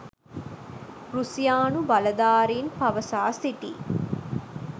රුසියානු බලධාරින් පවසා සිටියි